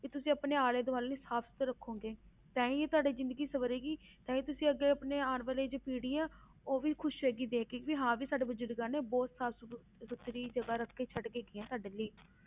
ਵੀ ਤੁਸੀਂ ਆਪਣੇ ਆਲੇ ਦੁਆਲੇ ਨੂੰ ਸਾਫ਼ ਸੁੱਥਰਾ ਰੱਖੋਗੇ ਤਾਂ ਹੀ ਤੁਹਾਡੀ ਜ਼ਿੰਦਗੀ ਸਵਰੇਗੀ, ਤਾਂ ਹੀ ਤੁਸੀਂ ਆਪਣੀ ਆਉਣ ਵਾਲੀ ਜੋ ਪੀੜ੍ਹੀ ਹੈ ਉਹ ਵੀ ਖ਼ੁਸ਼ ਹੋਏਗੀ ਦੇੇਖ ਕੇੇ ਕਿ ਹਾਂ ਵੀ ਸਾਡੇ ਬਜ਼ੁਰਗਾਂ ਨੇ ਬਹੁਤ ਸਾਫ਼ ਸੁ~ ਸੁਥਰੀ ਜਗ੍ਹਾ ਰੱਖ ਕੇੇ ਛੱਡ ਕੇ ਗਏ ਹੈ ਸਾਡੇ ਲਈ।